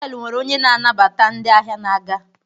họtelu nwere onye na-anabata ndị ahịa na-aga